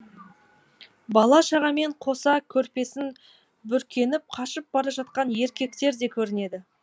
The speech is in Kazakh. бала шағамен қоса көрпесін бүркеніп қашып бара жатқан еркектер де көрінеді